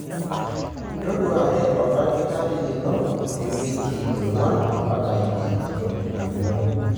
Toduare oldakitari lino iwiki onguan impaka ile enton etu ilo.